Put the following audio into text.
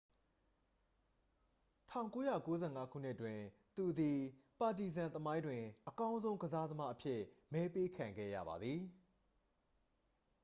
1995 ခုနှစ်တွင် သူသည် ပါတီဇန် သမိုင်းတွင် အကောင်းဆုံးကစားသမားအဖြစ် မဲပေးခံခဲ့ရပါသည်